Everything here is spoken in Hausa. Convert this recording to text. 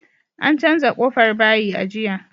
An canza ƙofar bayi a jiya